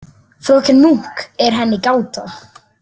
Fröken Munk er henni gáta.